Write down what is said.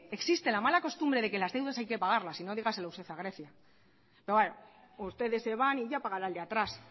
existe la mala costumbre de que las deudas hay que pagarlas sino dígaselo usted a grecia pero bueno ustedes se van y ya pagará el de atrás